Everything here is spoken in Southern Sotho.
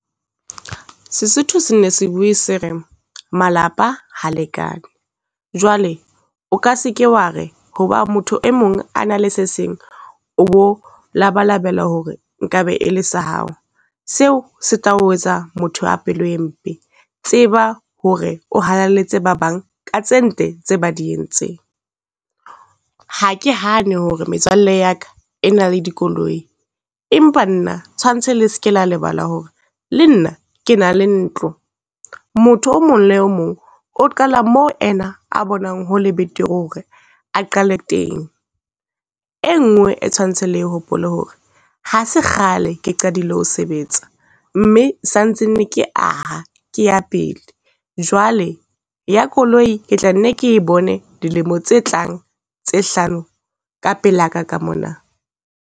Sesotho sene se bue se re, malapa ha lekane. Jwale o ka se ke wa re ho ba motho e mong a nang le se seng o bo labalabela hore nkabe e le sa hao, seo se tla o etsa motho a pelo e mpe. Tseba hore o halaletse ba bang ka tse ntle tse ba di entseng. Ha ke hane ho re metswalle ya ka e na le dikoloi, empa nna tshwantse le ske la lebala hore le nna ke na le ntlo. Motho o mong le mong o qala mo ena a bonang ho le betere ho re a qale teng. Enngwe e tshwantse le e hopole hore, ha se kgale ke qadile ho sebetsa mme santsane ke aha ke ya pele. Jwale ya koloi, ke tla nne ke e bone dilemo tse tlang tse hlano ka pela ka ka mona.